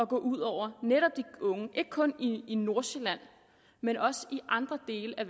gå ud over netop de unge ikke kun i nordsjælland men også i andre dele af